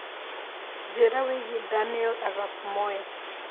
njĩira wĩĩgĩe Daniel Arap Moi